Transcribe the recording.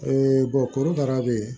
korokara be yen